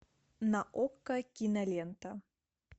на окко кинолента